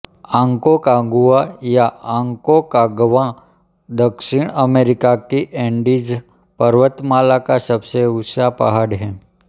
Aconcagua या Aconcagua दक्षिण America की ऐन्डीज़ पर्वतमाला का सबसे ऊँचा पहाड़ है